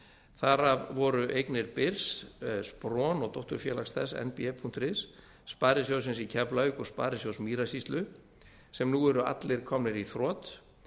þar af voru eignir byrs spron og dótturfélags þess nb punktur is sparisjóðsins í keflavík og sparisjóðs mýrasýslu sem nú eru allir komnir í þrot